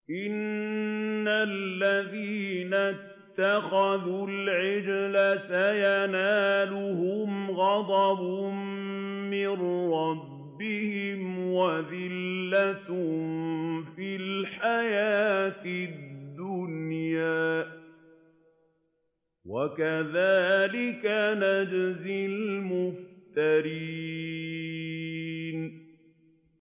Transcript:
إِنَّ الَّذِينَ اتَّخَذُوا الْعِجْلَ سَيَنَالُهُمْ غَضَبٌ مِّن رَّبِّهِمْ وَذِلَّةٌ فِي الْحَيَاةِ الدُّنْيَا ۚ وَكَذَٰلِكَ نَجْزِي الْمُفْتَرِينَ